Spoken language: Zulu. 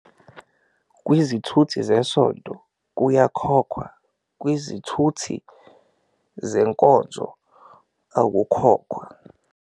Kwizithuthi zesonto kuyakhokhwa, kwizithuthi zenkonzo akukhokhwa.